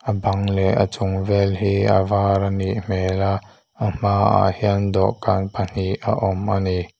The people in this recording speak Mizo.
bang leh a chung vel hi a var anih hmel a a hmaah hian dawhkan pahnih a awm a ni.